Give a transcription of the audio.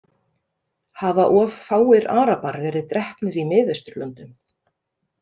Hafa of fáir Arabar verið drepnir í Miðausturlöndum?